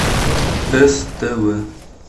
ств